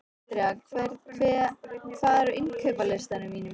Andreas, hvað er á innkaupalistanum mínum?